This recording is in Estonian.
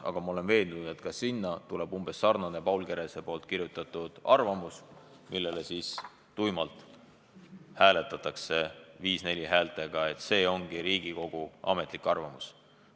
Paraku ma olen veendunud, et ka siis tuleb mängu sarnane nagu Paul Kerese kirjutatud arvamus, mille poolt tuimalt hääletatakse 5 : 4 häältega, et see ongi Riigikogu ametlik arvamus.